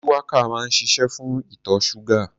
Shuwaka máa ń ṣiṣé fún ìtọ̀ ṣúgà.